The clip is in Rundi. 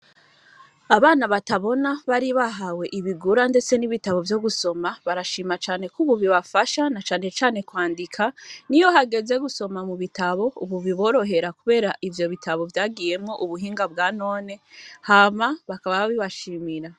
Abana batabona bari bahawe ibigura, ndetse n'ibitabo vyo gusoma barashima cane ko ububi bafasha na canecane kwandika ni yo hageze gusoma mu bitabo, ubu biborohera, kubera ivyo bitabo vyagiyemwo ubuhinga bwa none hama bakaba bibashimira.